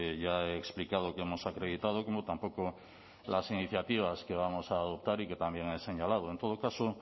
ya he explicado que hemos acreditado como tampoco las iniciativas que vamos a votar y que también ha señalado en todo caso